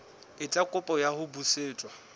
etsa kopo ya ho busetswa